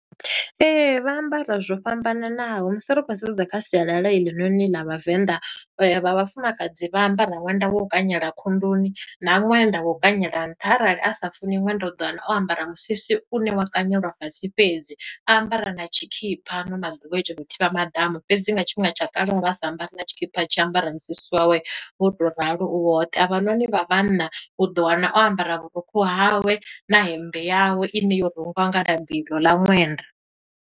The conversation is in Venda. Ee, vha ambara zwo fhambananaho musi ri khou sedza kha sialala heḽinoni ḽa Vhavenḓa, vha vhafumakadzi vha ambara ṅwenda wo u kanyela khunduni, na ṅwenda wo u kanyela nṱha arali a sa funi ṅwenda u ḓo wana o ambara musisi une wa kanyelwa fhasi fhedzi, a ambara na tshikhipha ano maḓuvha thivha maḓamu. Fhedzi nga tshifhinga tsha kale vha sa ambari na tshikhipha, a tshi ambara musisi wawe wo tou ralo u woṱhe. Avhanoni vha vhanna, u ḓo wana o ambara vhurukhu hawe, na hemmbe yawe, ine yo rungiwa nga labi iḽo ḽa ṅwenda.